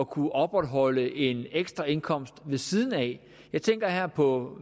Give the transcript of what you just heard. kunne opretholde en ekstra indkomst ved siden af jeg tænker her på